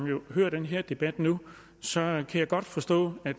jo hører den her debat nu så jeg godt forstå at